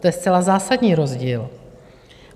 To je zcela zásadní rozdíl!